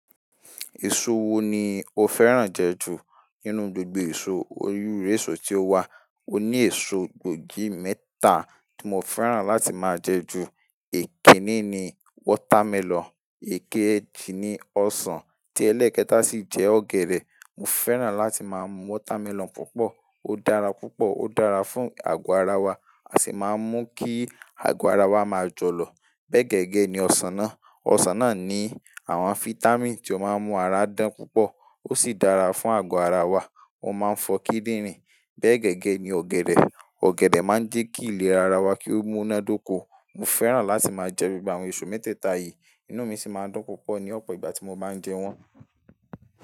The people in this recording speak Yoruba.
Èso wo ni o fẹ́ràn jẹ ju? Nínú gbogbo èso orí òrùlé èso tí ó wà, ó ní èso gbòógì mẹ́ta tí mo fẹ́ràn láti máa jẹ jù Èké ní ni watermelon, èké èjì ní ọsàn, tí ẹlẹ́ẹ̀kẹta sì jẹ́ ọ̀gẹ̀dẹ̀. Èké ní ni watermelon, èké èjì ní ọsàn, tí ẹlẹ́ẹ̀kẹta sì jẹ́ ọ̀gẹ̀dẹ̀. Ó dára púpọ̀, ó dára fún àgọ́ ara wa, a sì máa ń mú kí àgọ́ ara wa máa jọ̀lọ̀ Bẹ́ gẹ́gẹ́ ní ọsàn náà, ọsàn náà ní àwọn fitami tí ó máa ń mú ara dán púpọ̀, ó sì dára fún àgọ́ ara wa. Ó máa ń fọ́ kíndìnrín. Bẹ́ gẹ́gẹ́ ní ọ̀gẹ̀dẹ̀, ọ̀gẹ̀dẹ̀ máa ń jẹ́ kí ìlera ara wa kí ó múnádóko. Mo fẹ́ràn láti máa jẹ gbogbo àwọn èso mẹ́tẹ̀ẹ̀ta yìí, inú mi sì máa dún púpọ̀ ní ọ̀pọ̀ ìgbà tí mo bá ń jẹ wọ́n.